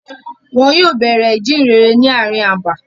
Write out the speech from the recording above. Wọn yóò bẹ̀rẹ̀ ìjíǹrere ni ààrin abà.